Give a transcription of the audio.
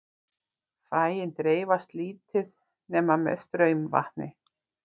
Fræin dreifast lítið nema með straumvatni.